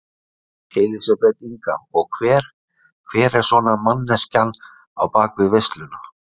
Elísabet Inga: Og hver, hver er svona manneskjan á bakvið veisluna?